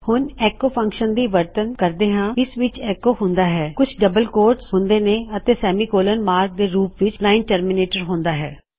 ਹੁਂਣ ਐੱਕੋ function ਦੀ ਵਰਤੋ ਦਸਦੇ ਹਾਂ ਇਸ ਵਿੱਚ ਐੱਕੋ ਹੁੰਦਾ ਹੈ ਕੁਝ ਡਬਲ ਕੋਟਸ ਹੁੰਦੇ ਨੇ ਅਤੇ ਸੈਮੀਕੋਲੋਨ ਮਾਰਕ ਦੇ ਰੂਪ ਲਿੱਚ ਲਾਇਨ ਟਰਮਿਨੇਟਰ ਹੁੰਦਾ ਹੈ